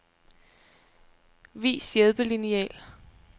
Vis hjælpelineal.